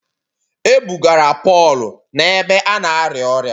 E bugara Pọl n’ebe a na-arịa ọrịa